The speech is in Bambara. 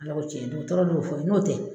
Ala ko cɛn dɔgɔtɔrɔ n'o fɔ n'o tɛ